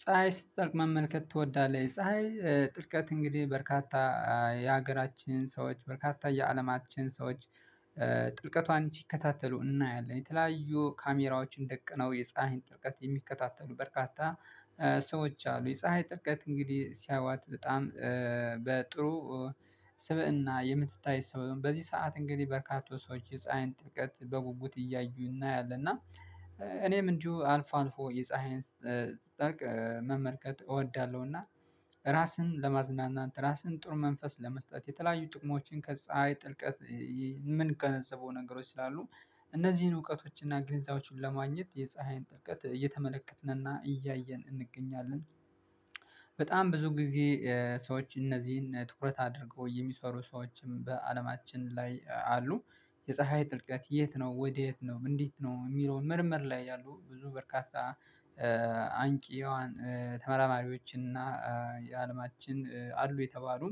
ፀሀይ ስትጠልቅ መመልከት ትወዳለህ? ፀሀይ ጥልቀቱ እንግዲህ በርካታ የሀገራችን ሰዎች በርካታ የአለማችን ሰዎች ጥልቀቷን ሲከታተሉ እናያለን የተለያዩ ካሜራዎችን ደቅነው የፀሀይን ጥልቀትን የሚከታተሉ በርካታ ሰዎች አሉ የፀሀይ ጥልቀት እንግዲህ ሲያዩዋት በጣም በጥሩ ስብእና የምትታይ ሰው በዚህ ሰዓት እንግዲህ በርካታ ሰዎች የፀሃይን ጥልቀት በጉጉት እያዩ እናያለን እና እኔም እንዲሁ አልፋ አልፎ የፀሀይን ስትጠልቅ መመልከት እወዳለሁና ራስን ለማዝናናት ራስን ጥሩ መንፈስ ለመስጠት የተለያዩ ጥቅሞችን ከፀሀይ ጥልቀት የምንገነዘበው ነገሮች ስላሉ እነዚህን እውቀቶች እና ግንዛቤዎች ለማግኘት የፀሀይን ጥልቀት እየተመለከትንና እያየን እንገኛለን በጣም ብዙ ጊዜ ሰዎች እነዚህን ትኩረት አድርገው የሚሰሩ ሰዎችም በአለማችን ላይ አሉ የፀሀይ ጥልቀት የት ነው ወዴት ነው እንዴት ነው የሚለውን ምርምር ላይ ያሉ ብዙ በርካታ አንቂ የዋን ተመራማሪዎችና የአለማችን አሉ የተባሉ